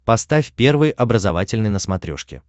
поставь первый образовательный на смотрешке